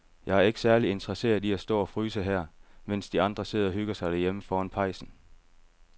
Jeg er ikke særlig interesseret i at stå og fryse her, mens de andre sidder og hygger sig derhjemme foran pejsen.